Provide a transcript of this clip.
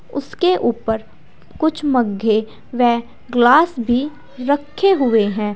उसके ऊपर कुछ मग्गे व ग्लास भी रखे हुए हैं।